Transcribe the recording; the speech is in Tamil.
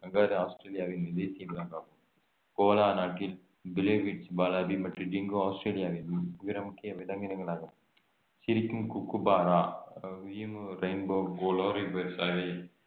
கங்காரு ஆஸ்திரேலியாவின் தேசிய விலங்காகும் கோலா வாலபி மற்றும் டிங்கோ ஆஸ்திரேலியாவின் பிற முக்கிய விலங்கினங்களாகும் சிரிக்கும் குக்குபாரா அஹ் ஈமு ரெயின்போ